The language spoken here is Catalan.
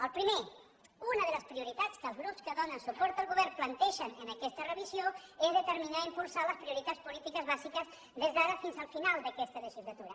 el primer una de les prioritats que els grups que donen suport al govern plantegen en aquesta revisió és determinar i impulsar les prioritats polítiques bàsiques des d’ara fins al final d’aquesta legislatura